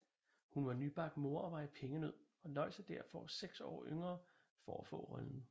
Hun var nybagt mor og var i pengenød og løj sig derfor seks år yngre for at få rollen